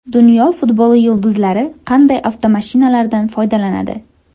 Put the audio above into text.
Dunyo futboli yulduzlari qanday avtomashinalardan foydalanadi?